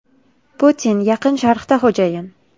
Putin Yaqin Sharqda xo‘jayin.